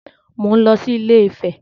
Mò ń lọ sí Ilé-Ifẹ̀